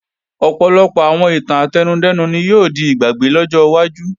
Ọ̀pọ̀lọpọ̀ àwọn ìtàn átẹnudẹ́nu ni yóò di ìgbàgbé lọ́jọ́ iwájú